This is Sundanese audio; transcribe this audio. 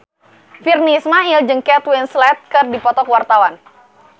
Virnie Ismail jeung Kate Winslet keur dipoto ku wartawan